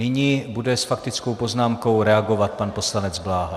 Nyní bude s faktickou poznámkou reagovat pan poslanec Bláha.